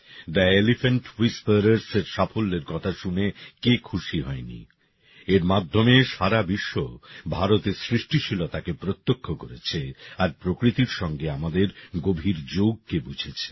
the elephant হুইসপারারসএর সাফল্যের কথা শুনে কে খুশি হয়নি এর মাধ্যমে সারা বিশ্ব ভারতের সৃষ্টিশীলতাকে প্রত্যক্ষ করেছে আর প্রকৃতির সঙ্গে আমাদের গভীর যোগকে বুঝেছে